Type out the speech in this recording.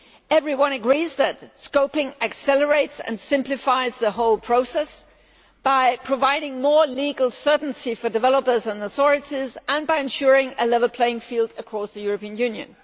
Everyone agrees that scoping accelerates and simplifies the whole process by providing more legal certainty for developers and authorities and by ensuring a level playing field across the European Union.